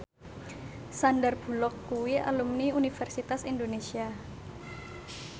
Sandar Bullock kuwi alumni Universitas Indonesia